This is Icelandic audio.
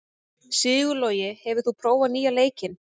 Sigurlogi, hefur þú prófað nýja leikinn?